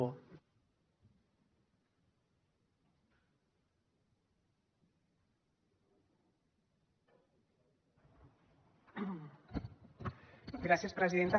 gràcies presidenta